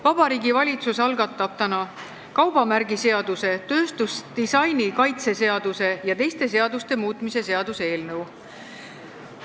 Vabariigi Valitsus algatab täna kaubamärgiseaduse, tööstusdisaini kaitse seaduse ja teiste seaduste muutmise seaduse eelnõu.